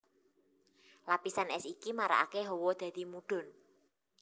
Lapisan ès iki marakaké hawa dadi mudhun